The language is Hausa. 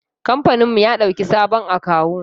Kamfaninmu ya ɗauki sabon akawu.